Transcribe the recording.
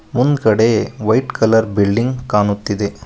ಮುಂದ್ಗಡೆ white colour building ಕಾಣುತ್ತಿದೆ.